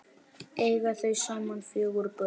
Eiga þau saman fjögur börn.